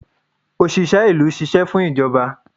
osìsé ìlú sìsé fún ijobà.